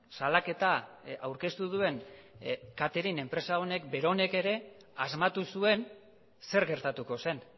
salaketa aurkeztu duen katering enpresa honek beronek ere asmatu zuen zer gertatuko zen